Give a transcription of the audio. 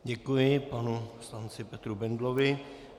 Děkuji panu poslanci Petru Bendlovi.